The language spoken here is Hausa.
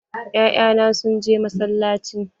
Ya'ya na sun je masallaci.